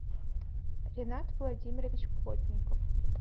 ринат владимирович плотников